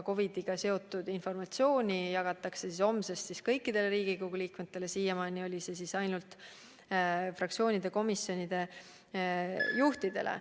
COVID-iga seotud informatsiooni jagatakse homsest kõikidele Riigikogu liikmetele, siiamaani saadeti see ainult fraktsioonide ja komisjonide juhtidele.